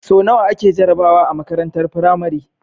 So nawa ake jarabawa a makarantar pramari